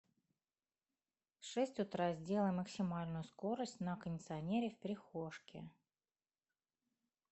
в шесть утра сделай максимальную скорость на кондиционере в прихожке